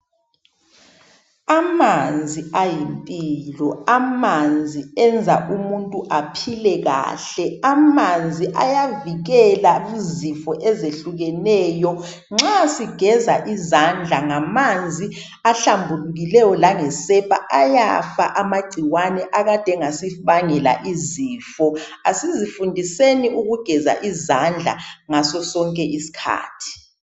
Amanzi ayimpilo amanzi enza umuntu aphile kahle amanzi ayavikela izifo ezihlukeneyo nxa sigeza izandla ngamanzi ahlambukileyo langesepha ayafa amacikwane akade engasibangela izifo kasizi fundiseni ukugeza izandla ngaso sonke isikhathi.